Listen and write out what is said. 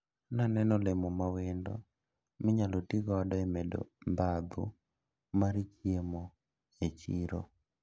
Naneno olemo mawendo minyalo tigodo e medo dhadhu mar chiemo e chiro.